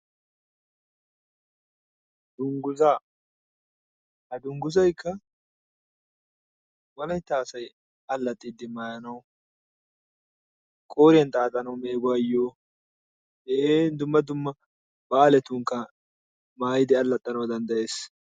Dunguzaa ha dunguzaykka wolaytta asayi allaxxiiddi maayanawu qooriyan xaaxanawu meeguwayyo dumma dumma baaletunkka maayidi allaxxanawu danddayes.